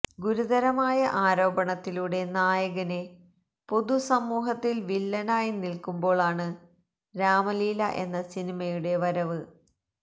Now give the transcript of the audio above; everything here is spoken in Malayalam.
ഗുരുതരമായ ആരോപണത്തിലൂടെ നായകന് പൊതുസമൂഹത്തില് വില്ലനായി നില്ക്കുമ്പോളാണ് രാമലീല എന്ന സിനിമയുടെ വരവ്